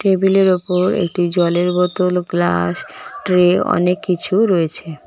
টেবিলের ওপর একটি জলের বোতল ও গ্লাস ট্রে অনেককিছু রয়েছে।